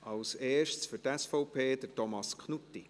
Als Erster für die SVP, Thomas Knutti.